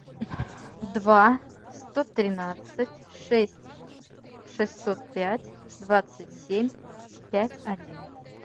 два сто тринадцать шесть шестьсот пять двадцать семь пять один